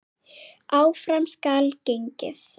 Áfram skal gengið.